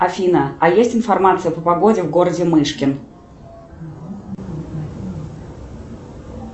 афина а есть информация по погоде в городе мышкин